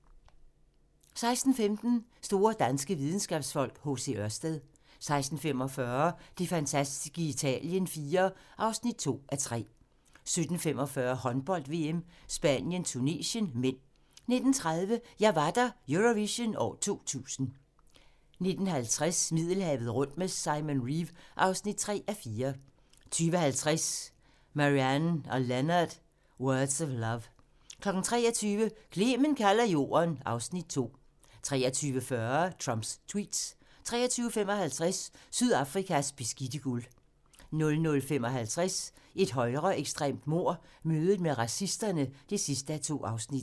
16:15: Store danske videnskabsfolk: H.C. Ørsted 16:45: Det fantastiske Italien IV (2:3) 17:45: Håndbold: VM - Spanien-Tunesien (m) 19:30: Jeg var der - Eurovision 2000 19:50: Middelhavet rundt med Simon Reeve (3:4) 20:50: Marianne & Leonard: Words of Love 23:00: Clement kalder Jorden (Afs. 2) 23:40: Trumps tweets 23:55: Sydafrikas beskidte guld 00:55: Et højreekstremt mord - mødet med racisterne (2:2)